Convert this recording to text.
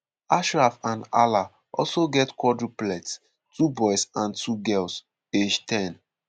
ashraf and hala also get quadruplets - two boys and two girls - age 10.